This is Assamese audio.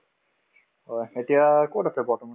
হয়, এতিয়া কত আছে বৰ্তমান ?